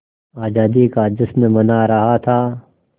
आज़ादी का जश्न मना रहा था